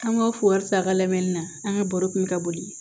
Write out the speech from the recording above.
An ka fo wari ti a ka lamɛnni na an ka baro kun bɛ ka boli